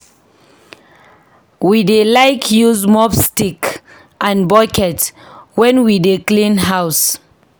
We dey like use mop stick and bucket wen we dey clean house.